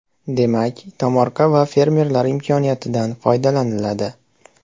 Demak, tomorqa va fermerlar imkoniyatidan foydalaniladi.